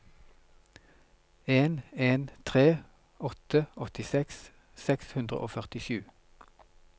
en en tre åtte åttiseks seks hundre og førtisju